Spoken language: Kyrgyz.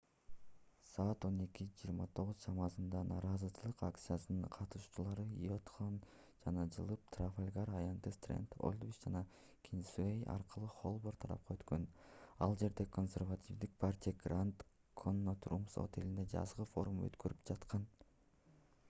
саат 11:29 чамасында нааразычылык акциясынын катышуучулары уайтхолл жакка жылып трафалгар аянты стренд олдвич жана кингсуэй аркылуу холборн тарапка өткөн ал жерде консервативдик партия гранд коннот румс отелинде жазгы форум өткөрүп жаткан